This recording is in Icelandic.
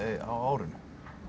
á árinu